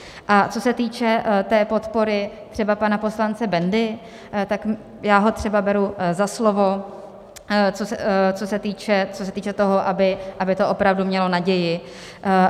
A co se týče té podpory třeba pana poslance Bendy, tak já ho třeba beru za slovo, co se týče toho, aby to opravdu mělo naději.